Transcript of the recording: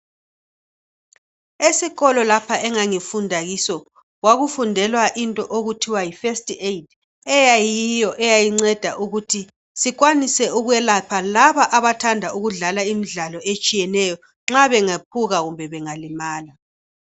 Esikolo lapho engangifunda kiso, kwakufundelwa into okuthiwa yiFirst aid. Eyiyo eyayinceda ukuthi sikwanise ukwelapha labo abathanda ukudlala imidlallo etshiyeneyo. Nxa bengephuka kumbe bangalimala.